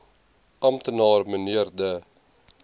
amptenaar mnr de